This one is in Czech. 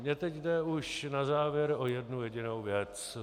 Mně teď jde už na závěr o jednu jedinou věc.